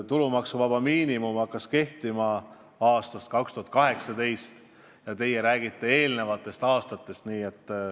Tulumaksuvaba miinimum hakkas kehtima aastal 2018 ja teie räägite eelmistest aastatest.